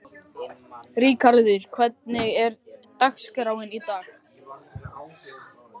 Ríkharður, hvernig er dagskráin í dag?